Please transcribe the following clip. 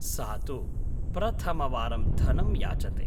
सा तु प्रथमवारं धनं याचते।